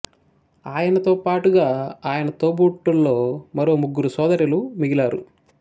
ఆయనతో పాటుగా ఆయన తోబుట్టువుల్లో మరో ముగ్గురు సోదరిలు మిగిలారు